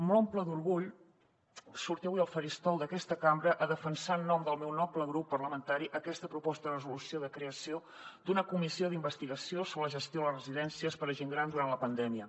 m’omple d’orgull sortir avui al faristol d’aquesta cambra a defensar en nom del meu noble grup parlamentari aquesta proposta de resolució de creació d’una comissió d’investigació sobre la gestió de les residències per a gent gran durant la pandèmia